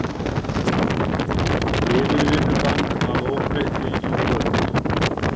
Yfirvinnubann að óbreyttu í kvöld